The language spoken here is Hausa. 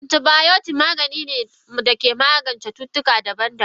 Antibiotics Maganin magance cutuka daban daban ne.